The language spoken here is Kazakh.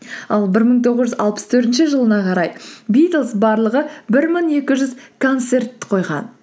ал бір мың тоғыз жүз алпыс төртінші жылына қарай битлз барлығы бір мың екі жүз концерт қойған